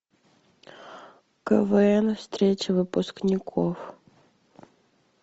квн встреча выпускников